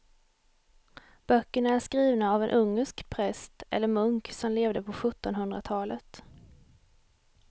Böckerna är skrivna av en ungersk präst eller munk som levde på sjuttonhundratalet.